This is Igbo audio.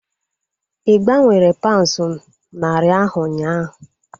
Ị gbanwere paunds narị ahu ụnyaahụ?